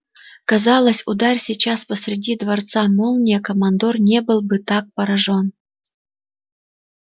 казалось ударь сейчас посреди дворца молния командор не был бы так поражён